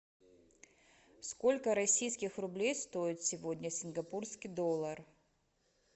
сколько российских рублей стоит сегодня сингапурский доллар